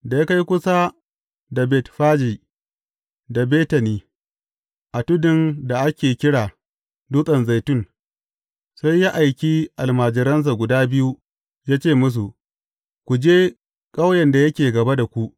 Da ya kai kusa da Betfaji da Betani, a tudun da ake kira Dutsen Zaitun, sai ya aiki almajiransa guda biyu, ya ce musu, Ku je ƙauyen da yake gaba da ku.